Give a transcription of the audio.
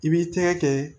I b'i tɛgɛ kɛ